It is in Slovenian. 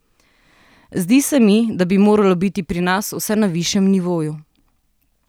Zdi se mi, da bi moralo biti pri nas vse na višjem nivoju.